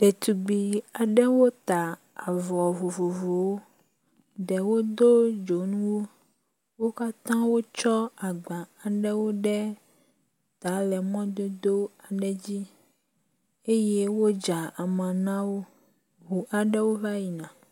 Ɖetugbi aɖewo ta avɔ vovovowo ɖewo do dzonuwo, wo katã wo tsɔ agba aɖewo ɖe ta le mɔdodo aɖe dzi eye wodza ama nawo, ʋu aɖewo va yina.